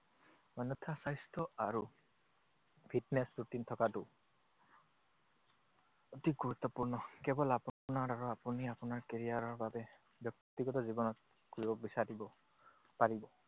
অন্যথা স্বাস্থ্য আৰু fitness routine থকাটো অতি গুৰুত্বপূৰ্ণ। কেৱল আপোনাৰ আৰু আপুনি আপোনাৰ career ৰ বাবে ব্যক্তিগত জীৱনত কৰিব বিচাৰিব পাৰিব।